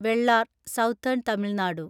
Vellar (southern Tamil Nadu)